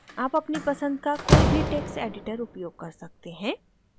आप अपनी पसंद का कोई भी टेक्स्ट editor उपयोग कर सकते हैं